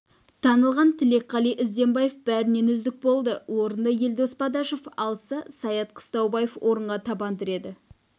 танылған тілекқали ізденбаев бәрінен үздік болды орынды елдос бадашев алса саят қыстаубаев орынға табан тіреді